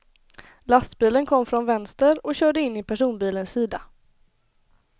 Lastbilen kom från vänster och körde in i personbilens sida.